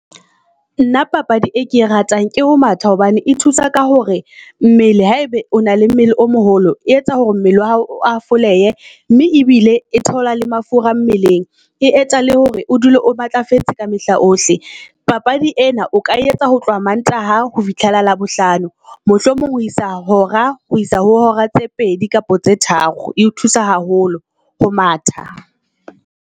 Nna papadi e ke e ratang je ho matha hobane e thusa ka hore mmele ha ebe o na le mmele o moholo, e etsa hore mmele oa hao o a fole mme ebile e thehola le mafura mmeleng. E etsahale hore o dule o o matlafetse ka mehla ohle. Papadi ena o ka etsa ho tloha Mantaha ho fihlela Labohlano mohlomong ho isa hora ho isa ho hora tse pedi kapa tse tharo. E o thusa haholo ho matha.